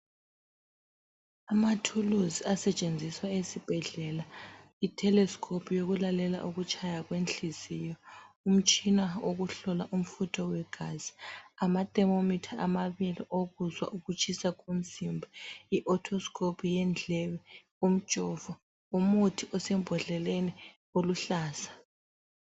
Amathuluzi asetshenziswa esibhedlela, itelescope yokulalela ukutshaya kwenhliziyo, umtshina wokuhlola umfutho wegazi, amathermometer amabili okuzwa ukutshisa komzimba, iautoscope yendlebe, umjovo, umuthi osembodleleni oluhlaza.